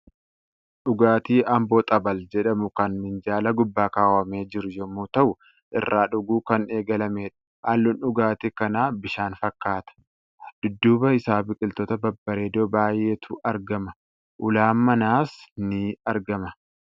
Dhugaatii Amboo xabal jedhamu kan minjaala guubbaa kaawwamee jiru yommuu ta'u, irraa dhuguu kan eegalamedha. Halluun dhugaatii kanaa bishaan fakkata. Dudduuba isaa biqiltoota babbareedoo baay'eetu argama. Ulaan manaas ni aragama.